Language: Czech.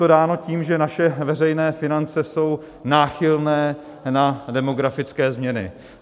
Je to dáno tím, že naše veřejné finance jsou náchylné na demografické změny.